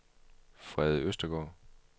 Frede Østergaard